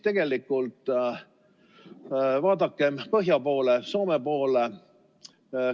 Tegelikult vaadakem põhja poole, Soome poole.